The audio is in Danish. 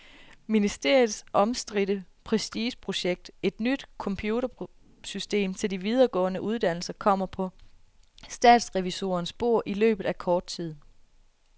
Ministeriets omstridte prestigeprojekt, et nyt computersystem til de videregående uddannelser, kommer på statsrevisorernes bord i løbet af kort tid.